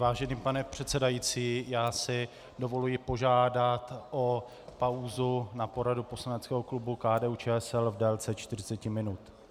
Vážený pane předsedající, já si dovoluji požádat o pauzu na poradu poslaneckého klubu KDU-ČSL v délce 40 minut.